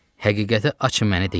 Həqiqəti açın, mənə deyin.